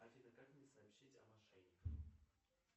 афина как мне сообщить о мошенниках